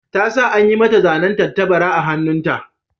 Ta sa an yi mata zanen tattabara a hannunta.